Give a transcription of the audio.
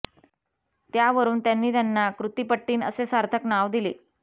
त्या वरून त्यांनी त्यांना कृत्तिपट्टिन् असें सार्थक नांव दिलें